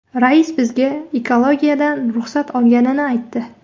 Rais bizga ekologiyadan ruxsat olganini aytdi.